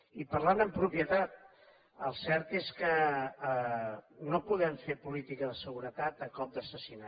i parlant amb propietat el cert és que no podem fer política de seguretat a cop d’assassinat